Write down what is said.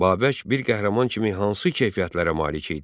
Babək bir qəhrəman kimi hansı keyfiyyətlərə malik idi?